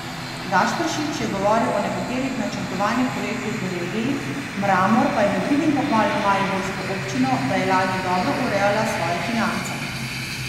Gašperšič je govoril o nekaterih načrtovanih projektih v regiji, Mramor pa je med drugim pohvalil mariborsko občino, da je lani dobro urejala svoje finance.